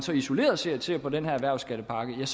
isoleret set ser på den her erhvervsskattepakke er